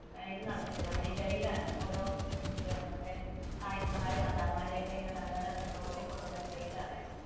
ഇത് നടത്തില്ലെ നമ്മുടെ ഈ ഗൈഡാണ് ഓരോ മറ്റേ സായിപ്പുമാർ, മദാമ്മമാർ ഒക്കെ ഇങ്ങനെ നല്ല നല്ല ഗൈഡ് ആണ് അയാൾ